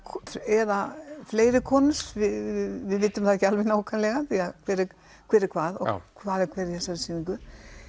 eða fleiri konur við vitum það ekki alveg nákvæmlega því hver er hver er hvað og hvað er hver í þessari sýningu